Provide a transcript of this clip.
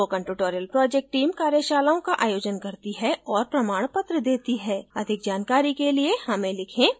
spoken tutorial project team कार्यशालाओं का आयोजन करती है और प्रमाणपत्र देती है अधिक जानकारी के लिए हमें लिखें